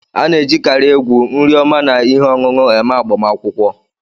A na-ejikarị egwu, nri oma na ihe ọṅụṅụ eme agbamakwụkwọ.